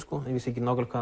vissi ekki nákvæmlega